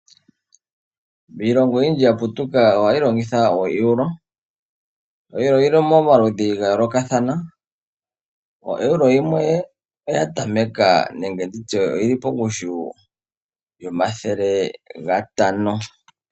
Iilongo oyindji ya putuka ohayi longitha oEuro. Oeuro oyili mo maludhi ga yoolokathana, oEuro yimwe oya tameka nenge tutye oyili pongushu yomathele gatano.